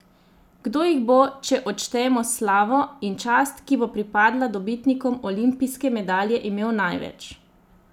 Kdo jih bo, če odštejemo slavo in čast, ki bo pripadla dobitnikom olimpijske medalje, imel največ?